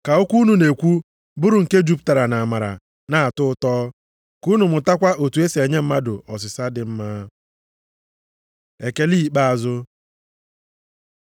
Ka okwu unu na-ekwu bụrụ nke jupụtara nʼamara na-atọ ụtọ, ka unu mụtakwa otu e si enye mmadụ ọsịsa dị mma. Ekele ikpeazụ